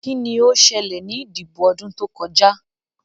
Kí ni ó ṣẹlẹ̀ ní ìdìbò ọdún tó kọjá?